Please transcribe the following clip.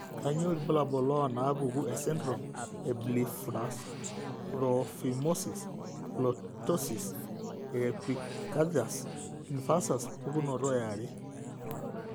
kainyio irbulabul onaapuku esindirom eBlepharophimosis, ptosis, oepicanthus inversus pukunoto eare?